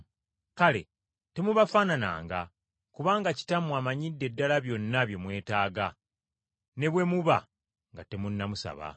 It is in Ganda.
Kale temubafaanananga, kubanga Kitammwe amanyidde ddala byonna bye mwetaaga ne bwe muba nga temunnamusaba.”